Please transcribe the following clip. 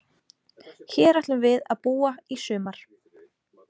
Hér ætlum við að búa í sumar